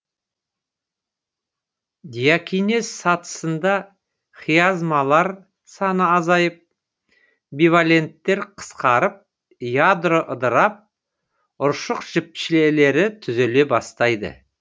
диакинез сатысында хиазмалар саны азайып биваленттер қысқарып ядро ыдырап ұршық жіпшелері түзіле бастайды